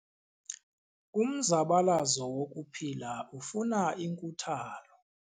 Umzabalazo wokuphila ufuna inkuthalo.